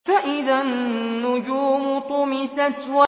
فَإِذَا النُّجُومُ طُمِسَتْ